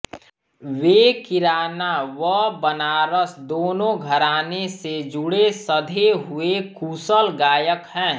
वे किराना व बनारस दोनों घराने से जुड़े सधे हुए कुशल गायक हैं